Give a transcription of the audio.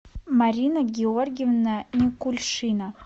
марина георгиевна никульшина